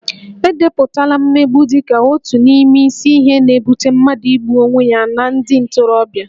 E depụtala mmegbu dị ka otu n'ime isi ihe na-ebute mmadụ igbu onwe ya na ndị ntorobịa